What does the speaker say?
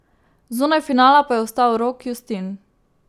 Zunaj finala pa je ostal Rok Justin.